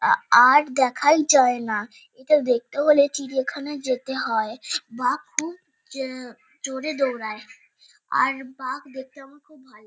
আ আর দেখাই যায়না। এটা দেখতে হলে চিড়িয়াখানায় যেতে হয়। বাঘ খুব জা- জোরে দৌড়ায় ।আর বাঘ দেখতে আমার খুব ভালো--